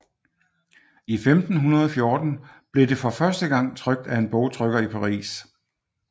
I 1514 blev det for første gang trykt af en bogtrykker i Paris